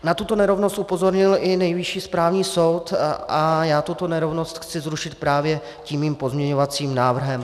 Na tuto nerovnost upozornil i Nejvyšší správní soud a já tuto nerovnost chci zrušit právě tím svým pozměňovacím návrhem.